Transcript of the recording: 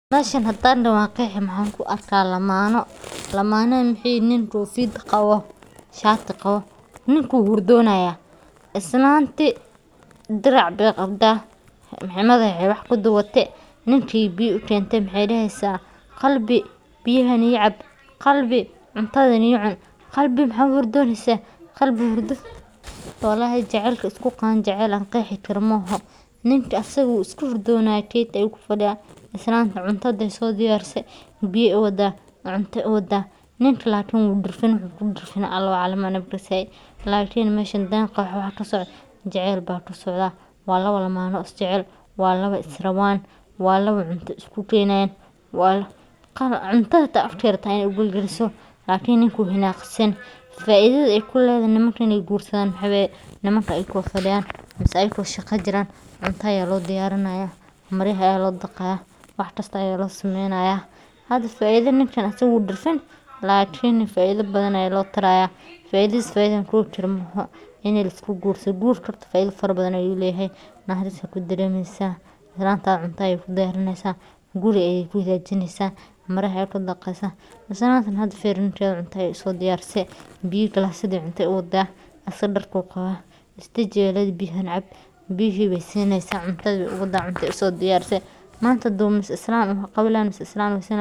Meshan hadan dhoho wan qeexi maxan ku arka lamaano, lamaanaha maxay yihin nin kofiyad qabo shati qabo, ninku wuu hurdonaya, islantii Dirac Bay qabta madax ay wax kuduubate ninki ay biya ukente maxay dheheysa qalbi biyahan ii cab, qalbi cuntadan ii cun, qalbi maxa u hurdonosa, qalbi ,wallahi jacelki ay isku qabaan waa jecel an qeexi karo mo oho, ninka asaga wuu iska hurdonaya keeti ayu ku fadhiya islantana cunta intay soo diyarisee biya u wadaa, cunto u wada ninka lakin asaga wuu dhirfany wuxuu kudhirfanyahay Allah aclam aniga makasay, lakin meshan waxaa kasocdo hadan qeexo waxa kasocdo jecel baa kasocda waa labo lamana oo isjecel waa laba is rabaan waa laba cunta isku geynayan, cuntada hata waxay rabta inay afka ugelgeeliso lakin nink wuu hinaqsan faidada ay kuledahay nimanka inay gursadan waxa waye nimanka ayako fadhiyan mise ayako shaaqa jiran cunta aya loo diyarinaya, maryaha aya loo dhaqaya wax kista aya loo sameynaya, hada faida ninkan asaga wuu dhirfan lakin faida badan aya loo taraya, faidadiis faida an koobi karo ma oho ini lagursado, gurka horta faida badan ayu leyahay, naxaaris aa kudareemeysa, islantada cunta ayay kudiyarineysa, guri ayay ku hagajineysa, maryaha ayay kuu dhaqeysa, islanta hada firi ninkada cunta ayay uso diyaarise ,biya glasyaa cunta ayay uwada, asag dharku qabaa is deji ayay ledehay biyahan cab, biyihi bey sineysa, cuntada way uwada, cunta ayay uso diyaarise manta mise hadu islan uu qabi laheyn misee islan uu haysan leheen